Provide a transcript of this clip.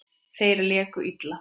Þeir léku illa.